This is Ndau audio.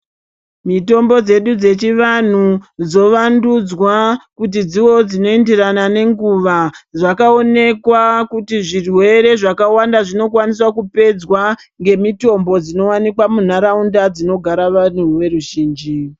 Mitombo dzedu dzechivantu dzovandudzwa kuti dzivewo dzinoenderana nenguva zvakaonekwa kuti zvirwere zvakawanda zvinokwaniswa kupedzwa ngemitombo dzinowanikwa muntaraunda dzinogara vantu veruzhinji.